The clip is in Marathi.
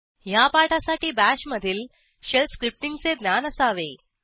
ह्या पाठासाठी BASHमधील शेल स्क्रिप्टींगचे ज्ञान असावे